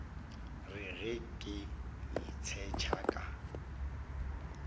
re ge ke itshetšha ka